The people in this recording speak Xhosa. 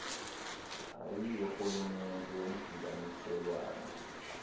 au yorhulumente womdibaniselwano